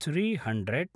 three hundred